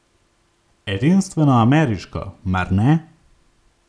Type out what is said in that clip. Edinstveno ameriško, mar ne?